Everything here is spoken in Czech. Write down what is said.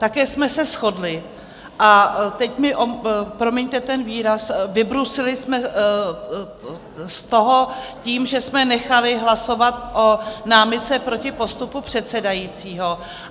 Také jsme se shodli - a teď mi promiňte ten výraz - vybruslili jsme z toho tím, že jsme nechali hlasovat o námitce proti postupu předsedajícího.